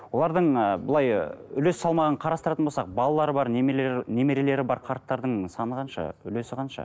олардың ы былай үлес салмағын қарастыратын болсақ балалары бар немерелер немерелері бар қарттардың саны қанша үлесі қанша